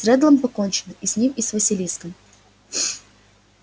с реддлом покончено и с ним и с василиском